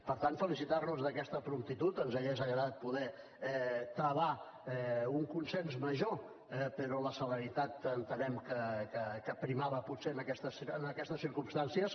per tant felicitar nos d’aquesta promptitud ens hauria agradat poder travar un consens major però la celeritat entenem que prevalia potser en aquestes circumstàncies